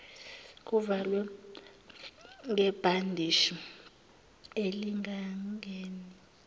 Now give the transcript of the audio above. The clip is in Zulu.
kuvalwe ngebhandishi elingangeni